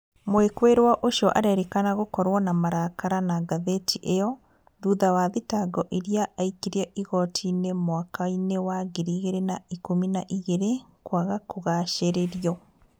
Mwikuirwo ucio arerikana gukorwo na marakara na ngathĩti iyo thutha wa thitango iria aikirie igoti-inĩ mwaka-inĩ wa ngiri ĩgĩrĩ na ikũmi na igĩrĩ kwaga kũgacĩrĩrio.